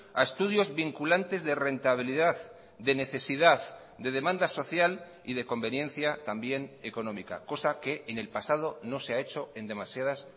a estudios vinculantes de rentabilidad de necesidad de demanda social y de conveniencia también económica cosa que en el pasado no se ha hecho en demasiadas